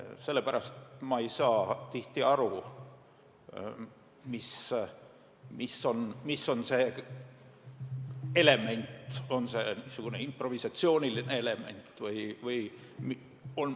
Sellepärast ei saa ma tihti aru, mis on see element, on see niisugune improvisatsiooniline element või ...